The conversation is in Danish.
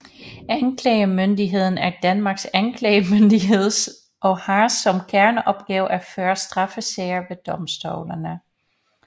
Anklagemyndigheden er Danmarks anklagemyndighed og har som kerneopgave at føre straffesager ved domstolene